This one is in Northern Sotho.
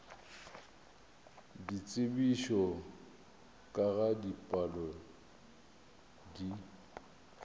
ditsebišo ka ga dipalo di